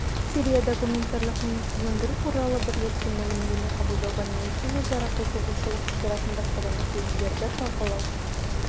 сирияда гуманитарлық минасыздандыру туралы бірлескен мәлімдеме қабылдауға ниетті өзара қызығушылық тудыратын басқа да мәселелерді талқылау